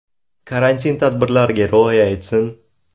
Karantin tadbirlariga rioya etsin.